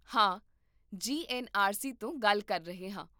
ਹਾਂ, ਜੀ N R C ਤੋਂ ਗੱਲ ਕਰ ਰਹੇ ਹਾਂ